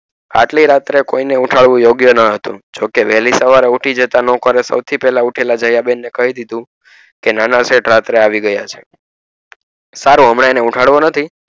આટલી રાત્રે કોઈ ને ઉઠાડવા યોગ્ય ન હતું જોક વહેલી સવારે ઉઠી જતા નોકરે સૌ થી પેલા ઉઠી ને દયા બેન ને કઈ દીધું કે નાના શેઠ રાત્રે આવી ગયા છે સારું હમણાં એને ઉઠાડવો નથી.